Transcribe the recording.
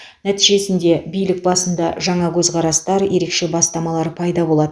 нәтижесінде билік басында жаңа көзқарастар ерекше бастамалар пайда болады